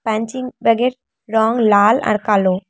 Punching ব্যাগের রঙ লাল আর কালো।